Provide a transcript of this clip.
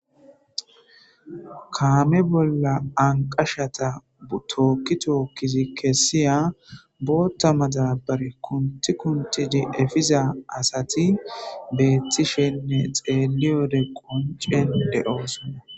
Kame bolla banqashata ,Toki toki kesiya botha madabara kunti kunti efiza asati betishen xelode qonci de'osona